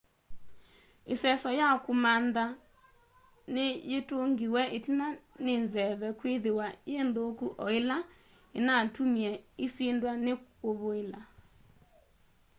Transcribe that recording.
iseso ya kumamantha ni yitungiwe itina ni nzeve kwithiwa yi nthuku o ila inatumie isindwa ni kuvuila